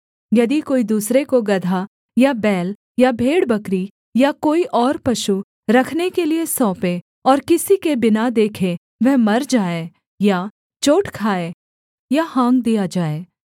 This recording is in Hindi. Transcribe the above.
यदि कोई दूसरे को गदहा या बैल या भेड़बकरी या कोई और पशु रखने के लिये सौंपे और किसी के बिना देखे वह मर जाए या चोट खाए या हाँक दिया जाए